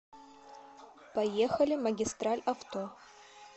поехали магистраль авто